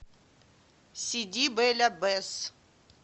сиди бель аббес